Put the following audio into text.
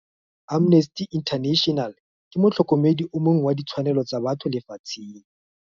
Amnesty International ke motlhôkômêdi o mongwe wa ditshwanelô tsa batho lefatsheng.